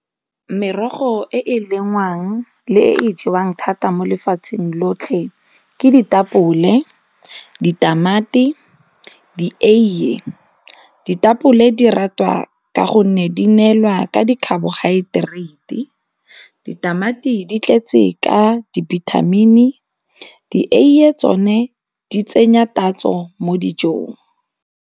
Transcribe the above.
Merogo e e lengwang le e e jewang thata mo lefatsheng lotlhe ke ditapole, ditamati, dieiye. Ditapole di ratwa ka gonne di neelwa ka di-carbohydrate, ditamati di tletse ka dibithamini, dieiye tsone di tsenya tatso mo dijong.